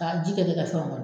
Ka ji kɛ fɛnw kɔnɔ.